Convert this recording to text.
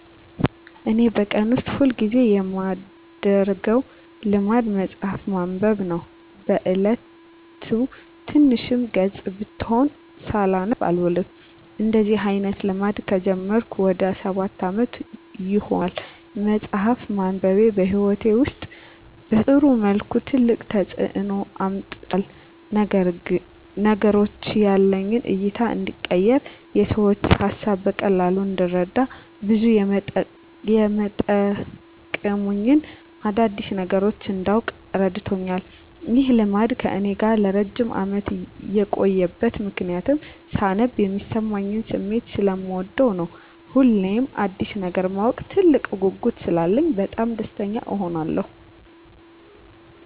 እኔ በቀን ውስጥ ሁል ጊዜ የማደረገው ልማድ መጽሀፍ ማንበብ ነው። በ እየለቱ ትንሽም ገፅ ብትሆን ሳላነብ አልውልም። እንደዚህ አይነት ልማድ ከጀመርኩ ወደ ሰባት አመት ይሆናል። መፅሃፍ ማንበቤ በህይወቴ ውስጥ በጥሩ መልኩ ትልቅ ተፅዕኖ አምጥቷል። ለነገሮች ያለኝ እይታ እንዲቀየር፣ የሰዎችን ሀሳብ በቀላሉ እንድረዳ፣ ብዙ የመጠቅሙኝን አዳዲስ ነገሮች እንዳውቅ እረድቶኛል። ይህ ልማድ ከእኔ ጋር ለረጅም አመት የቆየበት ምክንያትም ሳነብ የሚሰማኝን ስሜት ሰለምወደው ነው። ሁሌም አዲስ ነገር የማወቅ ትልቅ ጉጉት ስላለኝ በጣም ደስተኛ እሆናለሁ።